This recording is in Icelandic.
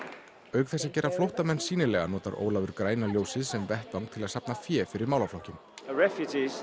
auk þess að gera flóttamenn sýnilega notar Ólafur græna ljósið sem vettvang til að safna fé fyrir málaflokkinn